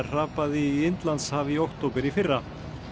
hrapaði í Indlandshaf í október í fyrra